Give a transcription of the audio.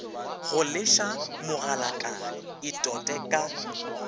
go leša mogalakane itote ka